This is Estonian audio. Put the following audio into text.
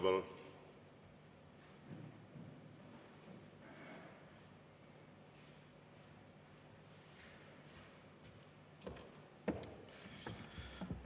Palun!